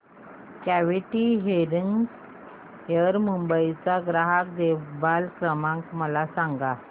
quality hearing care Mumbai चा ग्राहक देखभाल क्रमांक मला सांगा